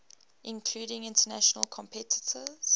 including international competitors